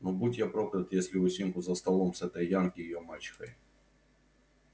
но будь я проклят если усинку за столом с этой янки её мачехой